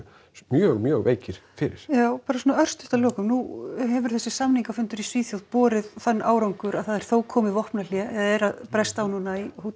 mjög mjög veikir fyrir já bara svona örstutt að lokum nú hefur þessi samningafundur í Svíþjóð borið þann árangur að það er þó komið vopnahlé eða er að bresta á núna í